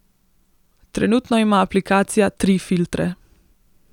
Trenutno ima aplikacija tri filtre.